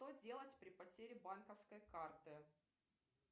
что делать при потере банковской карты